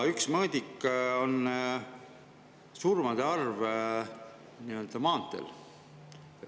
Üks mõõdik on surmade arv maanteel.